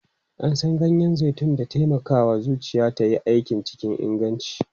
An san ganyen zaitun da taimakawa zuciya ta yi aiki cikin inganci.